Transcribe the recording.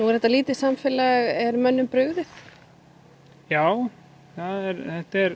er þetta lítið samfélag er mönnum brugðið já þetta er